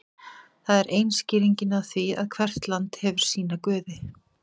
það er ein skýringin á því að hvert land hefur sína guði